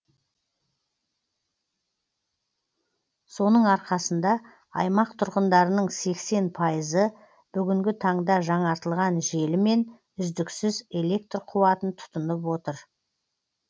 соның арқасында аймақ тұрғындарының сексен пайызы бүгінгі таңда жаңартылған желімен үздіксіз электр қуатын тұтынып отыр